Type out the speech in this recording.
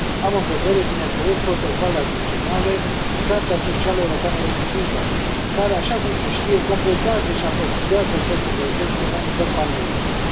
Am în vedere, bineînțeles, protocoalele adiționale, Carta socială europeană revizuită care, așa cum se știe, completează și aprofundează această protecție la nivel paneuropean.